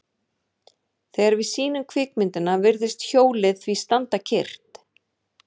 Þegar við sýnum kvikmyndina virðist hjólið því standa kyrrt.